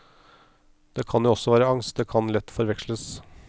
Det kan jo også være angst, det kan lett forveksles.